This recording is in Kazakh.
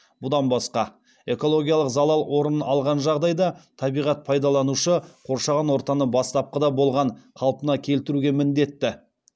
бұдан басқа экологиялық залал орын алған жағдайда табиғат пайдаланушы қоршаған ортаны бастапқыда болған қалпына келтіруге міндетті